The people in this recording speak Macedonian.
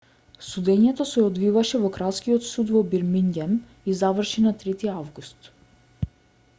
судењето се одвиваше во кралскиот суд во бирмингем и заврши на 3-ти август